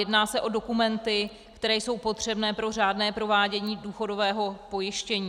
Jedná se o dokumenty, které jsou potřebné pro řádné provádění důchodového pojištění.